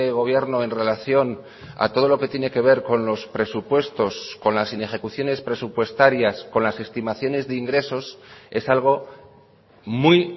gobierno en relación a todo lo que tiene que ver conlos presupuestos con las inejecuciones presupuestarias con las estimaciones de ingresos es algo muy